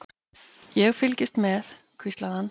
Ég fylgist með, hvíslaði hann.